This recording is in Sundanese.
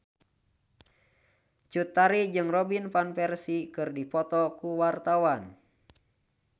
Cut Tari jeung Robin Van Persie keur dipoto ku wartawan